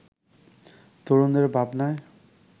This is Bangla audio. তরুণদের ভাবনায়